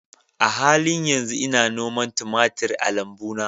A halin yanzu ina noman tumatir a lambuna